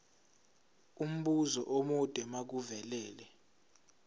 umbuzo omude makuvele